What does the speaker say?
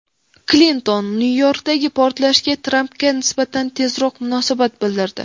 Klinton Nyu-Yorkdagi portlashga Trampga nisbatan tezkor munosabat bildirdi.